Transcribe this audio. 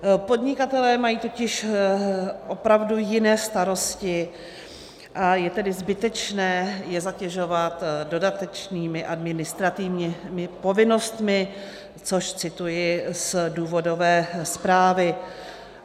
Podnikatelé mají totiž opravdu jiné starosti, a je tedy zbytečné je zatěžovat dodatečnými administrativními povinnostmi - což cituji z důvodové zprávy.